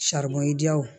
diyaw